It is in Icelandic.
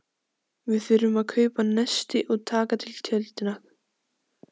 Við þurfum að kaupa nesti og taka til tjöldin og.